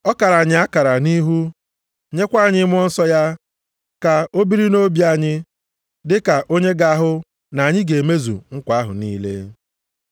Ọ kara anyị akara nʼihu, nyekwa anyị Mmụọ Nsọ ya ka o biri nʼobi anyị, dịka onye ga-ahụ na anyị ga-emezu nkwa ahụ niile.